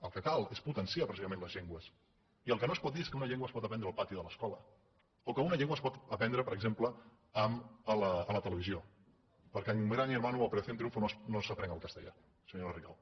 el que cal és potenciar precisament les llengües i el que no es pot dir és que una llengua es pot aprendre al pati de l’escola o que una llengua es pot aprendre per exemple a la televisió perquè amb gran hermano o operación triunfo no s’aprèn el castellà senyora rigau